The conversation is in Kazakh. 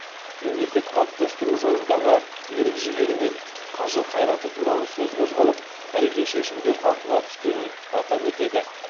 мемлекет қалыптастыру жолындағы ерік жігері мен қажыр қайраты туралы сөз қозғалып тарихи шешімдер талқыға түскенін атап өтеді